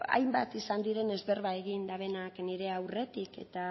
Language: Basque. hainbat izan direnez berba egin dutenak nire aurretik eta